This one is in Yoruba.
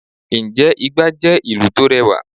sé igba jẹ ìlú to rẹwa?